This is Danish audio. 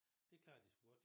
Det klarede de sgu godt